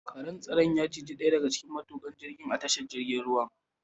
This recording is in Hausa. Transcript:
Karen tsaron ya ciji ɗaya daga cikin matukan jirgin a tashar ruwan.